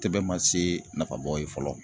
Tɛbɛn ma se nafabɔ ye fɔlɔ.